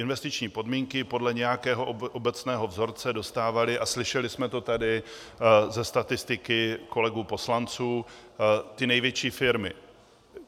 Investiční pobídky podle nějakého obecného vzorce dostávaly - a slyšeli jsme to tady ze statistiky kolegů poslanců - ty největší firmy.